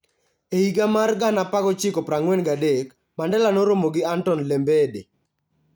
E higa mar 1943, Mandela noromo gi Anton Lembede,